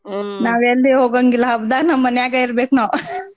ನಾವ್ ಎಲ್ಲಿ ಹೋಗಂಗಿಲ್ಲಾ ಹಬ್ದಾಗ್ ನಮ್ ಮನ್ಯಾಗ ಇರಬೇಕ್ನಾವ್.